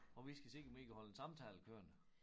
Og vi skal se om vi kan holde en samtale kørende